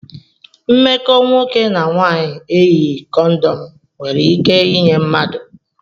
Mmekọ nwoke na nwanyị eyighi kondom nwere ike inye mmadụ